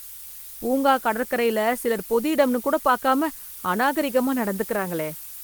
பூங்கா, கடற்கரைல சிலர், பொதுஇடம்னு கூட பாக்காம, அநாகரிகமா நடந்துக்கறாங்களே...